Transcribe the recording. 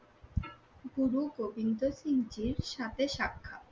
গুরু গোবিন্দ সিং জির সাথে সাক্ষাৎ